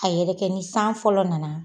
A yɛrɛ kɛ ni san fɔlɔ nana